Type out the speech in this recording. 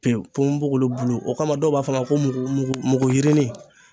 Pewu ponbogolo bulu o kama dɔw b'a fɔ a ma ko mugu mugu yirinin.